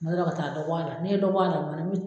Tuma dɔ la ka taa dɔ bɔ a la, n'i ye dɔ bɔ a la, o ma na min